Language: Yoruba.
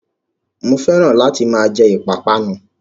Mo fẹ́ràn láti máa jẹ ìpápánu